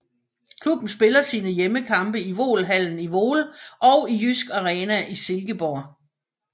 Klubben spiller sine hjemmekampe i Voelhallen i Voel og i Jysk Arena i Silkeborg